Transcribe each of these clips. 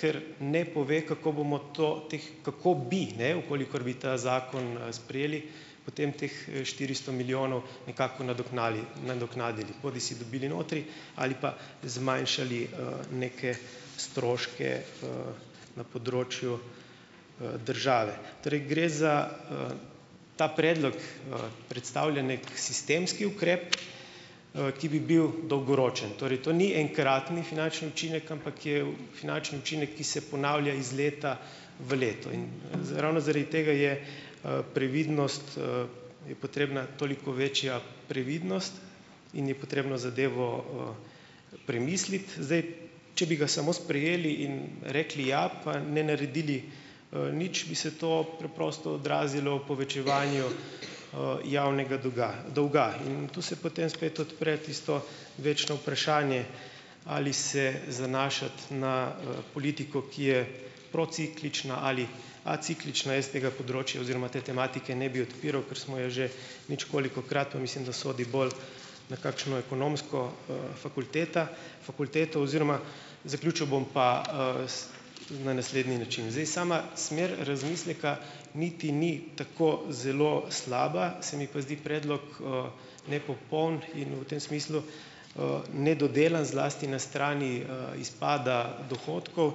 ker ne pove, kako bomo to teh kako bi, ne, v kolikor bi ta zakon sprejeli, potem teh štiristo milijonov nekako nadoknali nadoknadili, bodisi dobili notri ali pa zmanjšali, neke stroške, na področju, države. Tri, gre za, ta predlog, predstavlja neki sistemski ukrep, ki bi bil dolgoročen. Torej, to ni enkratni finančni učinek, ampak je finančni učinek, ki se ponavlja iz leta v leto. In ravno zaradi tega je, previdnost, je potrebna toliko večja previdnost in je potrebno zadevo, premisliti, zdaj. Če bi ga samo sprejeli in rekli ja, pa ne naredili, nič, bi se to preprosto odrazilo v povečevanju, javnega doga, dolga. In tu se potem spet odpre tisto večno vprašanje, ali se zanašati na, politiko, ki je prociklična ali aciklična, jaz tega področja oziroma te tematike ne bi odpiral, ker smo jo že nič kolikokrat. Pa mislim, da sodi to bolj na kakšno ekonomsko, fakulteto. Fakulteto oziroma ... Zaključil bom pa, s na naslednji način. Zdaj, sama smer razmisleka niti ni tako zelo slaba, se mi pa zdi predlog, nepopoln in v tem smislu, nedodelan, zlasti na strani, izpada dohodkov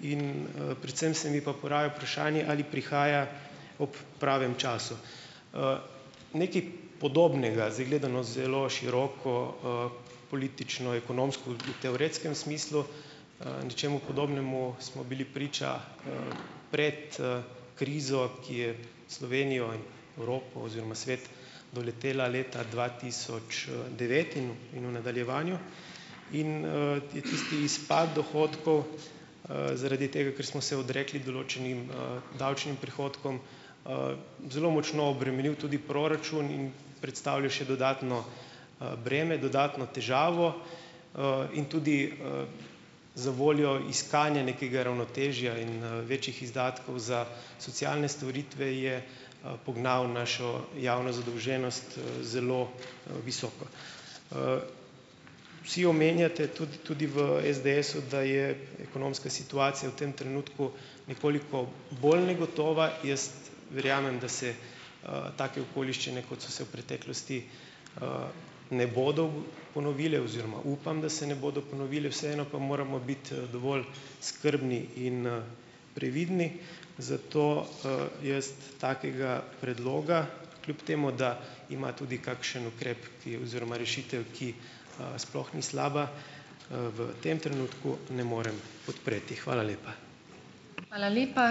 in, predvsem se mi pa poraja vprašanje ali prihaja ob pravem času. Nekaj podobnega, zdaj gledano zelo široko, politično, ekonomsko, v teoretskem smislu, nečemu podobnemu, smo bili priča pred, krizo, ki je Slovenijo, Evropo oziroma svet doletela leta dva tisoč, devet in v, v nadaljevanju in, je tisti izpad dohodkov, zaradi tega, ker smo se odrekli določenim, davčnim prihodkom, zelo močno obremenil tudi proračun in predstavljal še dodatno, breme, dodatno težavo, in tudi, za voljo iskanja nekega ravnotežja in, večjih izdatkov za socialne storitve je, pognal našo javno zadolženost zelo visoko. Vsi omenjate tudi tudi v SDS-u, da je ekonomska situacija v tem trenutku nekoliko bolj negotova. Jaz verjamem, da se, take okoliščine, kot so se v preteklosti, ne bodo ponovile oziroma upam, da se ne bodo ponovile. Vseeno pa moramo biti dovolj skrbni in previdni. Zato, jaz takega predloga, kljub temu da ima tudi kakšen ukrep, ki oziroma rešitev, ki sploh ni slaba, v tem trenutku ne morem podpreti. Hvala lepa.